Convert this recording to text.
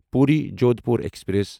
Puri Jodhpur express